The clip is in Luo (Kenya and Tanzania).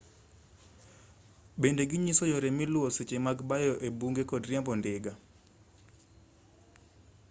bende ginyiso yore miluwo seche mag bayo ebunge kod riembo ndiga